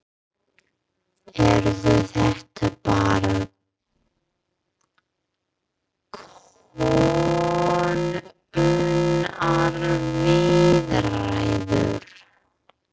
Eru þetta bara könnunarviðræður?